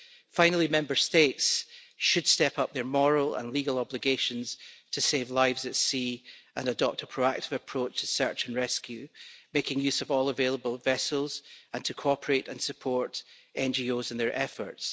Finally, Member States should step up their moral and legal obligations to save lives at sea and adopt a proactive approach to search and rescue, making use of all available vessels, and to cooperate and support NGOs in their efforts.